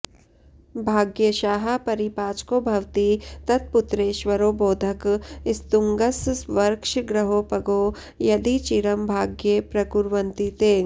भाग्येशाः परिपाचको भवति तत्पुत्रेश्वरो बोधक स्तुङ्गस्वर्क्षगृहोपगो यदि चिरं भाग्ये प्रकुर्वन्ति ते